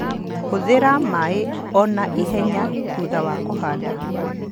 Hũthĩra maĩ o na ihenya thutha wa kũhanda